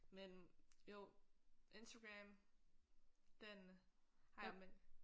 Men jo Instagram den har jeg men